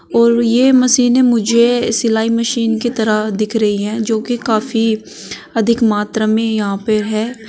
और ये मशीनें मुझे सिलाई मशीन की तरह दिख रही हैं जो कि काफी अधिक मात्रा में यहां पे है।